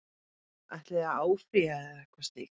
Ætlið þið að áfrýja eða eitthvað slíkt?